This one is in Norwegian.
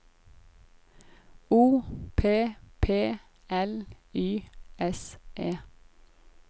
O P P L Y S E